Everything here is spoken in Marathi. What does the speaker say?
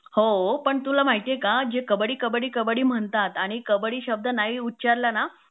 हो पण तुला माहितीए का जे कब्बडी कब्बडी कब्बडी म्हणतात आणि कबड्डी शब्द नाही उचारला ना